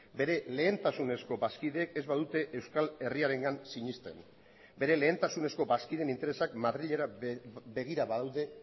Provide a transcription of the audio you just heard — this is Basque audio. bere lehentasunezko bazkideek ez badute euskal herriarengan sinesten bere lehentasunezko bazkideen interesak madrilera begira badaude